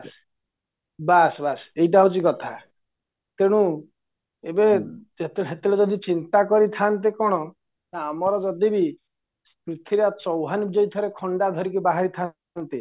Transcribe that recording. ବାସ ବାସ ଏଇଟା ହଉଚି କଥା ତେଣୁ ଏବେ ସେତେବେଳେ ଯଦି ଚିନ୍ତା କରିଥାନ୍ତେ କ'ଣ ନା ଆମର ଯଦିବି ପୃଥୀରାଜ ଚୌହାନ ଯଦି ଥରେ ଖଣ୍ଡା ଧରି ବାହାରିଥାନ୍ତେ